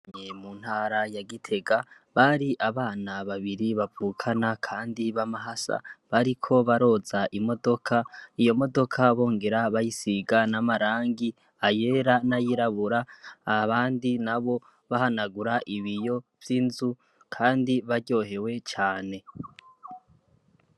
mu ntara ya gitega Bari abana babiri bavukana kandi bamahasa bariko baroza imodoka iyo modoka bongera bayisiga n'amarangi ayera nayirabura abandi nabo bahanagura ibiyo vyinzu Kandi baryohewe cane